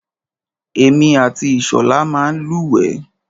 Èmi àti Ìṣọ̀lá máa ń lúwẹ̀ẹ́.